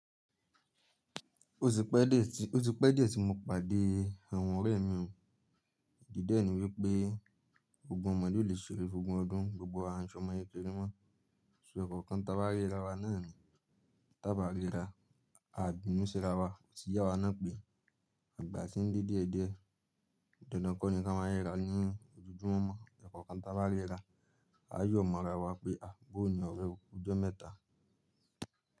Ó ti pẹ́ díẹ̀ tí mo pàdé àwọn ọ̀rẹ́ mi, di dẹ́ ẹ̀ní wípé gbogbo ọmọdé lè ṣeré gbogbo ọdún, gbogbo ààrùn ṣọmọ ye kéré mọ́. Ṣo ẹ̀kankan taba rira wa nàá ni, taba rira, ani bínú sí ara wa otí ye awa náà pé àgbà tí ń de die diẹ̀, dandan kọ́ ni ka máa rira ní ojojúmọ́. Ẹ̀kan kan taba rira, a yóò mọ́ra wa pé à bọ́ọ̀ní ọ̀rẹ́ okú ijọ́ mẹ́ta.